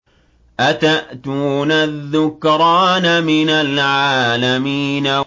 أَتَأْتُونَ الذُّكْرَانَ مِنَ الْعَالَمِينَ